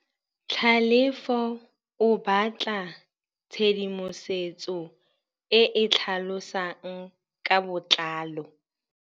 Tlhalefô o batla tshedimosetsô e e tlhalosang ka botlalô.